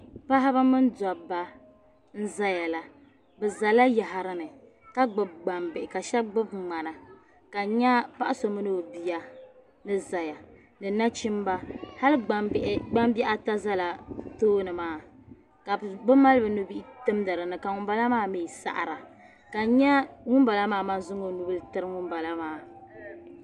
Paɣb mini dobba n zayala bizala yaɣrini kagbbi gbambihi kashab gbibi ŋmana ka n nya paɣso mini o bia ni zaya ni nachimba hal gbambihi. ata. zala bitoonimaa kabi ma li binubihi n-timdi. dini. kaŋumbalamaa mi saɣra kan. nya ŋun balamaŋ. zaŋ ɔnubili tiri ŋumbalamaa.